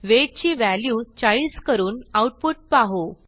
weight ची value 40 करून output पाहू